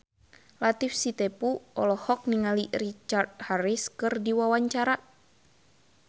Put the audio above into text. Latief Sitepu olohok ningali Richard Harris keur diwawancara